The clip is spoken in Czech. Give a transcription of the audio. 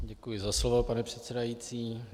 Děkuji za slovo, pane předsedající.